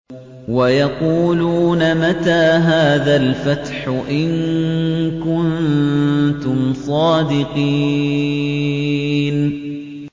وَيَقُولُونَ مَتَىٰ هَٰذَا الْفَتْحُ إِن كُنتُمْ صَادِقِينَ